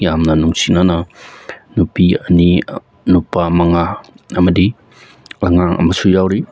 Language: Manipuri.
ꯌꯝꯅ ꯅꯨꯡꯁꯤꯅꯅ ꯅꯨꯄꯤ ꯑꯅꯤ ꯅꯨꯄꯥ ꯃꯉꯥ ꯑꯃꯗꯤ ꯑꯉꯥꯡ ꯑꯃꯁꯨ ꯌꯥꯎꯔꯤ꯫